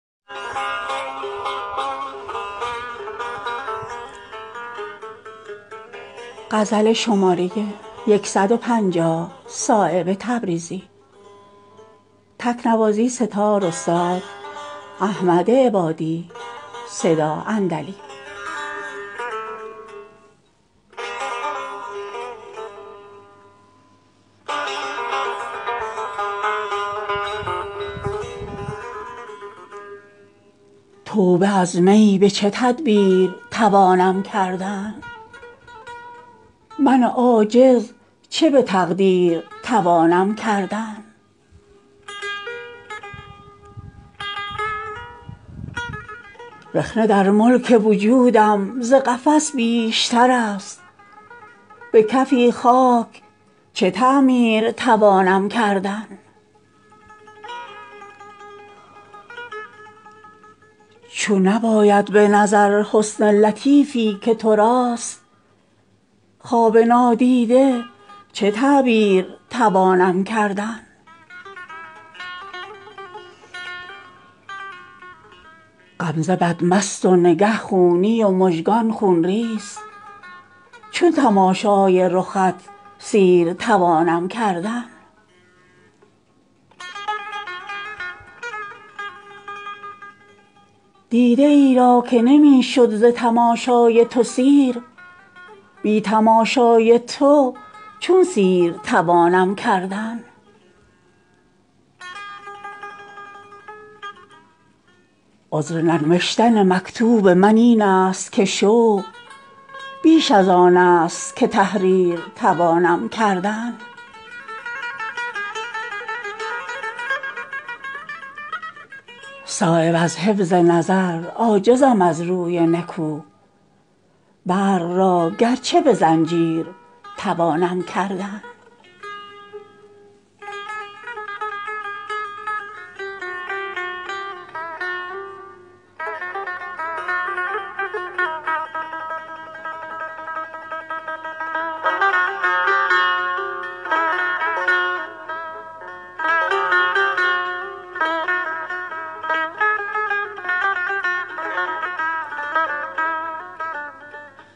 توبه از می به چه تدبیر توانم کردن من عاجز چه به تقدیر توانم کردن رخنه در ملک وجودم ز قفس بیشترست به کفی خاک چه تعمیر توانم کردن چون نیاید به نظر حسن لطیفی که تراست خواب نادیده چه تعبیر توانم کردن نه چنان دور و درازست ترا زلف که من کوته این راه به شبگیر توانم کردن عشق آن روز شود در دل صد چاک نهان که نیستان قفس شیر توانم کردن غمزه بد مست و نگه خونی و مژگان خونریز چون تماشای رخت سیر توانم کردن حسن خودرای تورم می کند از سایه خویش چون ترا رام به تدبیر توانم کردن نه چنان دل به تو ای مورمیان پیوسته است که جدا از تو به شمشیر توانم کردن دیده ای را که نمی شد ز تماشای تو سیر بی تماشای تو چون سیر توانم کردن چون نیاید به زبان آنچه مرا در دل هست ز اشتیاق تو چه تقریر توانم کردن عذر ننوشتن مکتوب من این است که شوق بیش ازان است که تحریر توانم کردن صایب از حفظ نظر عاجزم از روی نکو برق را گرچه به زنجیر توانم کردن